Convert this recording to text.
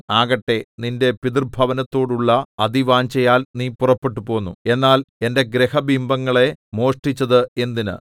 ആകട്ടെ നിന്റെ പിതൃഭവനത്തോടുള്ള അതിവാഞ്ഛയാൽ നീ പുറപ്പെട്ടുപോന്നു എന്നാൽ എന്‍റെ ഗ്രഹബിംബങ്ങളെ മോഷ്ടിച്ചത് എന്തിന്